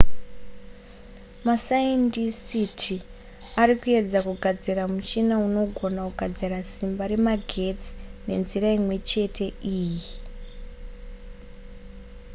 masaindisiti ari kuedza kugadzira muchina unogona kugadzira simba remagetsi nenzira imwe chete iyi